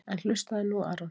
En hlustaðu nú Aron.